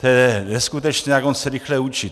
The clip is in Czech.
To je neskutečné, jak on se rychle učí.